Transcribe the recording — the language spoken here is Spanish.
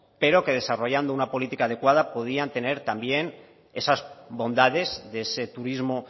pero que desarrollando una política adecuada podrían tener también esas bondades de ese turismo